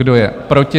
Kdo je proti?